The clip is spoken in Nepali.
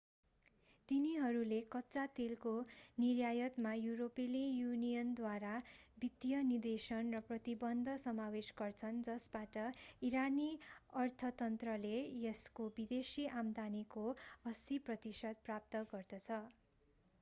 तिनीहरूले कच्चा तेलको निर्यातमा युरोपेली युनियनद्वारा वित्तीय निषेधन र प्रतिबन्ध समावेश गर्छन् जसबाट इरानी अर्थतन्त्रले यसको विदेशी आम्दानीको 80% प्राप्त गर्दछ